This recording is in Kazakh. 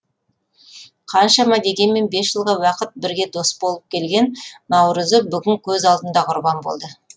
қаншама дегенмен бес жылға уақыт бірге дос болып келген наурызы бүгін көз алдында құрбан болды